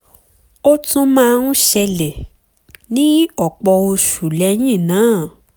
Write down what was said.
ó tún máa ń ṣẹlẹ̀ ní ọ̀pọ̀ oṣù lẹ́yìn náà